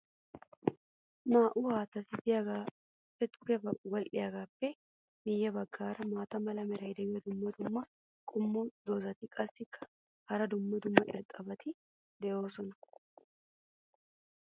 naa'u haattati diyaageeti duge wodhdhiyaageetuppe miye bagaara maata mala meray diyo dumma dumma qommo dozzati qassikka hara dumma dumma irxxabati doosona.